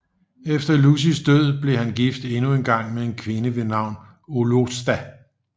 Efter Lucys død blev han gift endnu en gang med en kvinde ved navn Oloosta